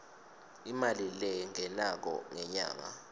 imali lengenako ngenyanga